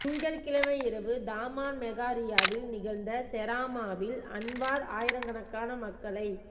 திங்கட்கிழமை இரவு தாமான் மெகா ரியாவில் நிகழ்ந்த செராமாவில் அன்வார் ஆயிரக்கணக்கான மக்களைக்